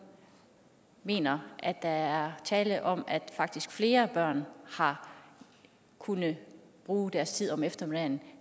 mener at der er tale om at faktisk flere børn har kunnet bruge deres tid om eftermiddagen